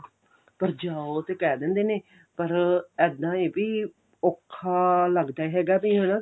ਪਰ ਜਾਓ ਤੇ ਕਿਹ ਦਿੰਦੇ ਨੇ ਪਰ ਇੱਦਾਂ ਏ ਵੀ ਔਖਾ ਲੱਗਦਾ ਹੈਗਾ ਵੀ ਹਨਾ